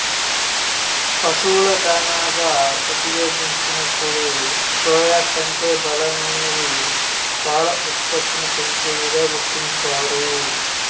పశువుల దాణాగా ఉపయోగించినప్పుడు సోయా కంటే బలమైనవి పాల ఉత్పత్తిని పెంచేవిగా గుర్తించారు